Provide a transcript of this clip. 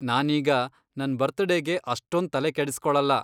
ನಾನೀಗ ನನ್ ಬರ್ತಡೇಗೆ ಅಷ್ಟೊಂದ್ ತಲೆ ಕೆಡಿಸ್ಕೊಳಲ್ಲ.